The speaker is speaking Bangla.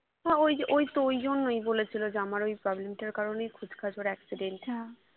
হ্যাঁ ওই যে ওইতো ঐজন্যই বলেছিলো যে আমার ওই problem টার কারণেই খুচখাচ ওর accident